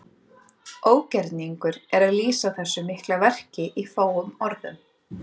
Ógerningur er að lýsa þessu mikla verki í fáum orðum.